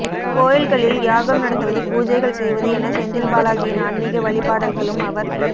கோயில்களில் யாகம் நடத்துவது பூஜைகள் செய்வது என செந்தில் பாலாஜியின் ஆன்மிக வழிபாடல்களும் அவர்